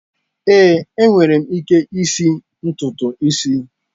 Ee, enwere m ike isi ntutu isi.